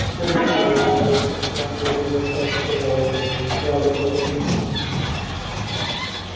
вскоре и он явился нас могут застать сказал он мне надобно поспешить